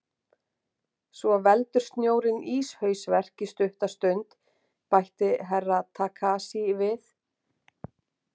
Svo veldur snjórinn íshausverk í stutta stund, bætti Herra Takashi við.